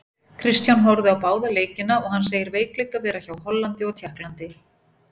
Kristján horfði á báða leikina og hann segir veikleika vera hjá Hollandi og Tékklandi.